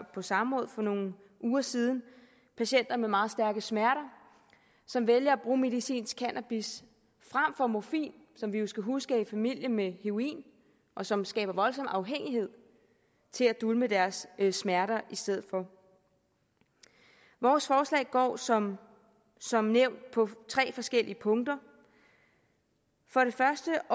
på samråd for nogle uger siden patienter med meget stærke smerter som vælger at bruge medicinsk cannabis frem for morfin som vi jo skal huske er i familie med heroin og som skaber voldsom afhængighed til at dulme deres smerter i stedet for vores forslag går som som nævnt på tre forskellige punkter for det første